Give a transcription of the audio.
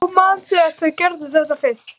Hún man þegar þau gerðu þetta fyrst.